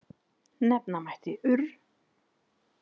Nefna mætti urr.